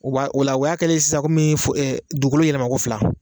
O b'a ola o y'a kɛlen ye sisan komin dugukolo yɛlɛma ko fila